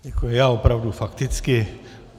Děkuji, já opravdu fakticky.